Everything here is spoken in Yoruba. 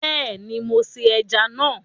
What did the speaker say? Beeni mo se eja na